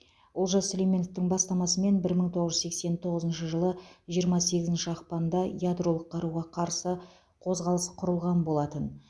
олжас сүлейменовтің бастамасымен бір мың тоғыз жүз сексен тоғызыншы жылы жиырма сегізінші ақпанда ядролық қаруға қарсы қозғалыс құрылған болатын